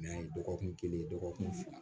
dɔgɔkun kelen dɔgɔkun fila